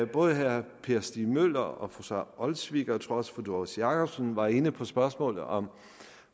både herre per stig møller og fru sara olsvig og jeg tror også fru doris jakobsen var inde på spørgsmålet om